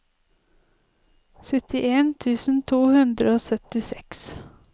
syttien tusen to hundre og syttiseks